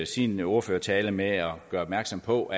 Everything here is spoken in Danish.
sin ordførertale med at gøre opmærksom på